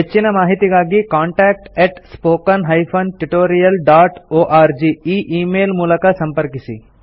ಹೆಚ್ಚಿನ ಮಾಹಿತಿಗಾಗಿ contact spoken tutorialorg ಈ ಈ ಮೇಲ್ ಮೂಲಕ ಸಂಪರ್ಕಿಸಿ